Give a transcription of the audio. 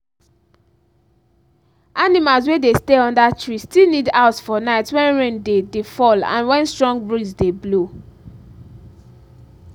animals wey dey stay under tree still need house for night when rain dey dey fall and when strong breeze dey blow